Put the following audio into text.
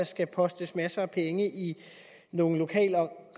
skal postes masser af penge i nogle lokale